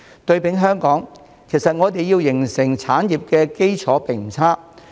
對比香港，其實我們要形成產業的基礎並不差。